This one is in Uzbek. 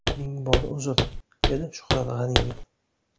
Ming bor uzr”, – dedi Shuhrat G‘aniyev.